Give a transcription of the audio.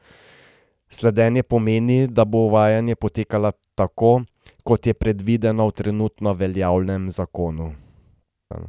Slednje pomeni, da bo uvajanje potekalo tako, kot je predvideno v trenutno veljavnem zakonu.